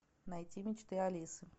найти мечты алисы